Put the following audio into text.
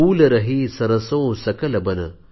फूल रही सरसों सकल बन